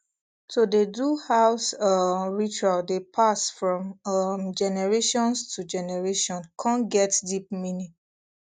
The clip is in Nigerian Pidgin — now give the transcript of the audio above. to dey do house um ritual dey pass from um generations to generation con get deep meaning